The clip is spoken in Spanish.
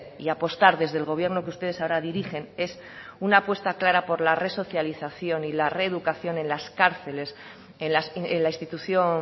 y apostar desde el gobierno que ustedes ahora dirigen es una apuesta clara por la resocialización y la reeducación en las cárceles en la institución